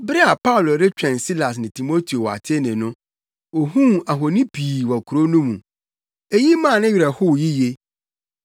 Bere a Paulo retwɛn Silas ne Timoteo wɔ Atene no, ohuu ahoni pii wɔ kurow no mu. Eyi maa ne werɛ howee yiye.